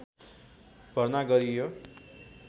भर्ना गरियो